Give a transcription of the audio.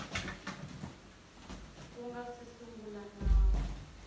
ku nga si sungula nawu